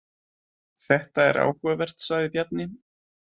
Þetta er áhugavert, sagði Bjarni.